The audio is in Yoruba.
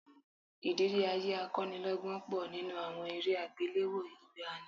Ìrírí ayé akọ́nilọ́gbọ́n pọ̀ nínú àwọn eré àgbéléwò ìgbàanì